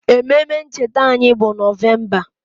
Ememe ncheta anyị bụ Nọvemba